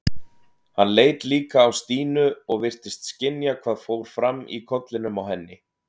Hann leit líka á Stínu og virtist skynja hvað fór fram í kollinum á henni.